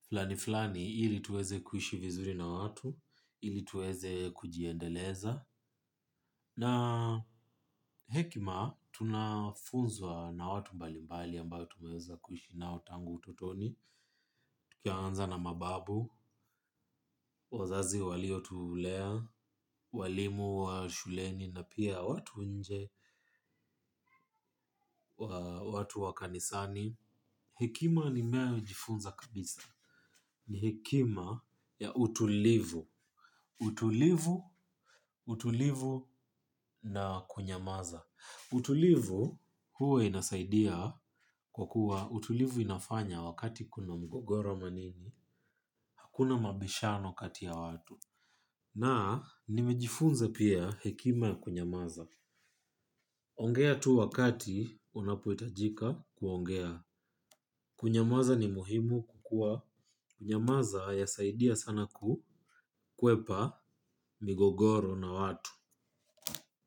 flani flani ili tuweze kuishi na watu ili tuweze kujiendeleza. Na hekima, tunafunzwa na watu mbalimbali ambao tumeweza kuishi nao tangu utotoni. Tukianza na mababu, wazazi walio tulea, walimu wa shuleni na pia watu nje watu wa kanisani. Hekima ninayo jifunza kabisa. Ni hekima ya utulivu. Utulivu, utulivu na kunyamaza. Utulivu huwa inasaidia kwa kuwa utulivu inafanya wakati kuna mgogoro ama nini. Hakuna mabishano kati ya watu. Na nimejifunze pia hekima ya kunyamaza. Ongea tu wakati unapohitajika kuongea. Kunyamaza ni muhimu kukua nyamaza haya saidia sana kukwepa migogoro na watu.